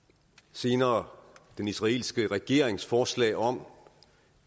senere havde den israelske regerings forslag om